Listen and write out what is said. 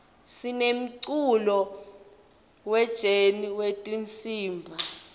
sinemculo we jeni wetinsimb